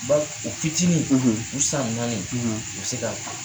Ba u fitinin , u san naani u bɛ se k'a kun.